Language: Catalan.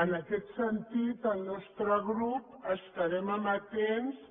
en aquest sentit el nostre grup estarem amatents